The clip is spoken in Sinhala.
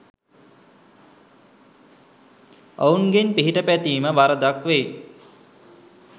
ඔවුන්ගෙන් පිහිට පැතීම වරදක් වෙයි